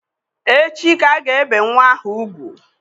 Echi ka a ga-ebe nnwa ahụ ugwu.